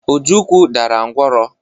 Ojukwu dara ngwọrọ.